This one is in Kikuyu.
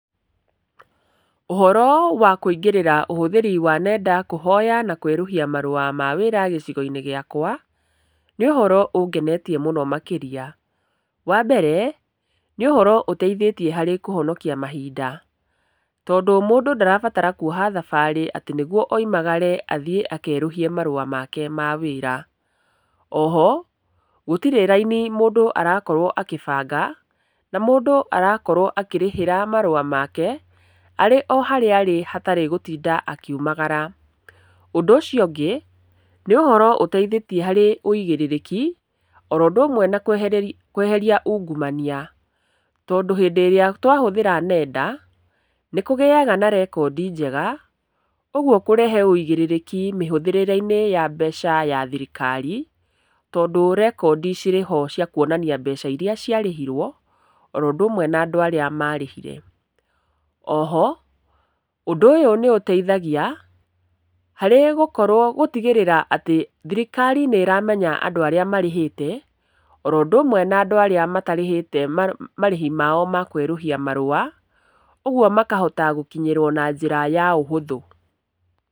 Ũhoro wa kũingĩrĩra ũhũthĩri wa nenda kũhoya na kwerũhia marũa ma wĩra gĩcigo-inĩ gĩakwa, nĩũhoro ũngenetie mũno makĩria. Wambere, nĩ ũhoro ũteithĩtie harĩ kũhonokia mahinda, tondũ mũndũ ndarabatara kuoha thabarĩ atĩ nĩguo oimagare athiĩ akerũhie marũa make ma wĩra. Oho, gũtirĩ raini mũndũ arakorwo akĩbanga, na mũndũ arakorwo akĩrĩhĩra marũa make, arĩoharĩa arĩ hatarĩ gũtinda akiumagara. Ũndũ ũcio ũngĩ, nĩ ũhoro ũteithĩtie harĩ ũigĩrĩrĩki, oũndũ ũmwe na kweheria ungumania, tondũ hĩndĩ ĩrĩa twahũthĩra nenda, nĩkũgĩaga na rekondi njega, ũguo kũrehe ũigĩrĩrĩki mĩhũthĩrĩre-inĩ ya mbeca ya thirikari, tondũ rekondi cirĩho ciakuonania mbeca iria ciarĩhirwo, oũndũ ũmwe na andũ arĩa marĩhire. Oho, ũndũ ũyũ nĩũtaithagia, harĩ gũkorwo gũtigĩrĩra atĩ thirikari nĩ ĩramenya andũ arĩa marĩhĩte, oro ũndũmwe na arĩa matarĩhĩte marĩhi mao makwerũhia marũa, ũguo makahota gũkinyĩrwo na njĩra ya ũhũthũ.